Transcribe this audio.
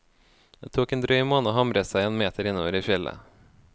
Det tok en drøy måned å hamre seg en meter innover i fjellet.